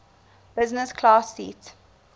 business class seat